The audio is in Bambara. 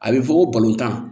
A bɛ fɔ ko balontan